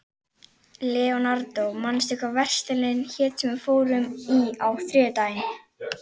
Leonardó, manstu hvað verslunin hét sem við fórum í á þriðjudaginn?